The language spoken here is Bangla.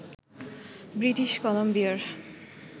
ব্রিটিশ কলাম্বিয়ার